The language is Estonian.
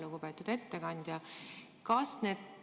Lugupeetud ettekandja!